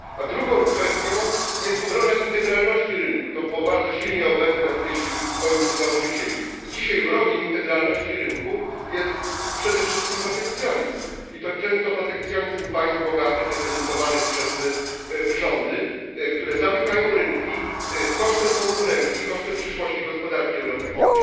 Drugą kwestią jest obrona integralności rynku to było bardzo silnie obecne w myśli ojców założycieli i dzisiaj wrogiem integralności rynku jest przede wszystkim protekcjonizm, i to często protekcjonizm państw bogatych reprezentowanych przez rządy, które zamykają rynki kosztem konkurencji i kosztem przyszłości gospodarki europejskiej.